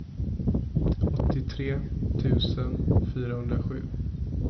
åttiotre tusen fyrahundrasju